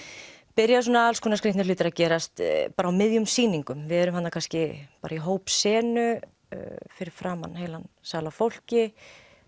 byrja alls konar skrýtnir hlutir að gerast á miðjum sýningum við erum kannski bara í hópsenu fyrir framan heilan sal af fólki